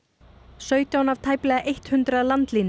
sautján af tæplega hundrað